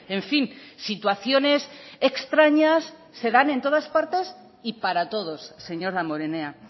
en fin situaciones extrañas se dan en todas partes y para todos señor damborenea